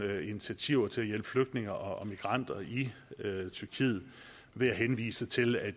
initiativer til at hjælpe flygtninge og migranter i tyrkiet med henvisning til at